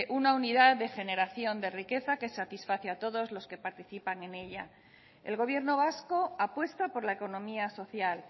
una unidad de generación de riqueza que satisface a todos los que participan en ella el gobierno vasco apuesta por la economía social